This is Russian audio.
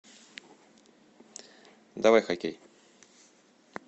давай хоккей